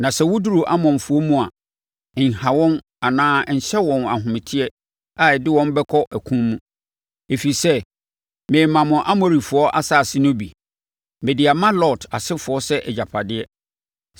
Na sɛ woduru Amonfoɔ mu a, nha wɔn anaa nhyɛ wɔn ahometeɛ a ɛde wɔn bɛkɔ ɔko mu, ɛfiri sɛ, meremma mo Amorifoɔ nsase no bi. Mede ama Lot asefoɔ sɛ agyapadeɛ.”